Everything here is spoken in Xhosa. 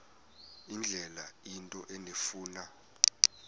indlela into endifuna